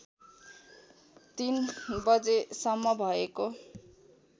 ३ बजेसम्म भएको